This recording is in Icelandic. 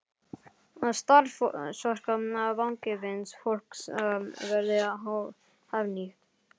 Að starfsorka vangefins fólks verði hagnýtt.